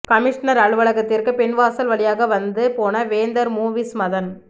commissioner அலுவலகத்திற்கு பின்வாசல் வழியாக வந்து போன வேந்தர் மூவிஸ் மதன்